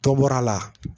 Tɔ bɔr'a la